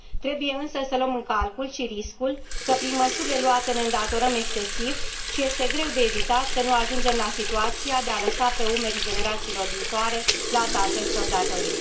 Trebuie însă să luăm în calcul și riscul că, prin măsurile luate, ne îndatorăm excesiv și este greu de evitat să nu ajungem la situația de a lăsa pe umerii generațiilor viitoare plata acestor datorii.